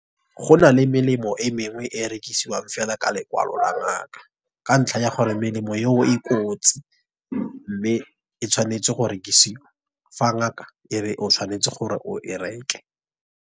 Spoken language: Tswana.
Gona le melemo e mengwe e e rekisiwang fela ka lekwalo la ngaka. Ka ntlha ya gore melemo eo e kotsi, mme e tshwanetse go rekisiwa fa ngaka e re o tshwanetse gore o e reke.